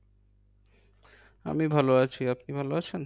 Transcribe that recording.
আমি ভালো আছি আপনি ভালো আছেন?